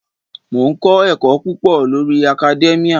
Mò ń kọ́ ẹ̀kọ́ púpọ̀ lórí academia.